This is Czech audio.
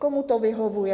Komu to vyhovuje?